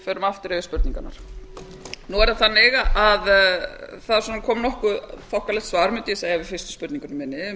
förum aftur yfir spurningarnar nú er það þannig að það kom nokkuð þokkalegt svar mundi ég segja við fyrstu spurningunni minni um